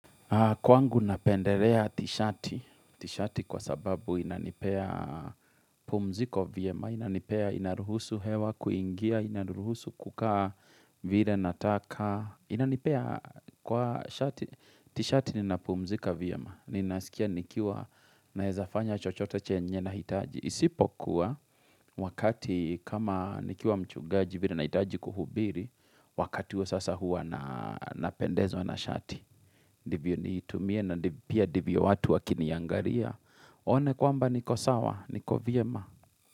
Kwangu napenderea tishati, tishati kwa sababu inanipea pumziko viyema, inanipea inaruhusu hewa kuingia, inaruhusu kukaa vire nataka. Inanipea kwa tishati, tishati nina pumzika vyema, ninasikia nikiwa nawezafanya chochote chenye nahitaji. Isipo kuwa wakati kama nikiwa mchugaji vire nahitaji kuhubiri, wakati wa sasa huwa napendezwa na shati. Divyo niitumie na pia divyo watu wakiniangaria waone kwamba ni kosawa, niko vyema.